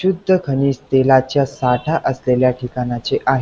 शुद्ध खनिज तेलाच्या साठा असलेल्या ठिकाणाचे आहे.